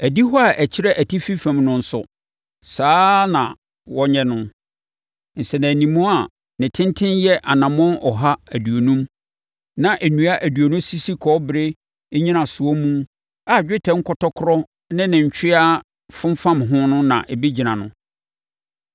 Adihɔ a ɛkyerɛ atifi fam no nso, saa ara na wɔnyɛ no. Nsɛnanimu a ne tenten yɛ anammɔn ɔha aduonum, na nnua aduonu sisi kɔbere nnyinasoɔ mu a dwetɛ nkɔtɔkorɔ ne ne ntweaa fomfam ho na ɛbɛgyina no.